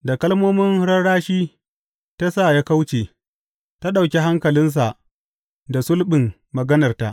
Da kalmomin rarrashi ta sa ya kauce; ta ɗauki hankalinsa da sulɓin maganarta.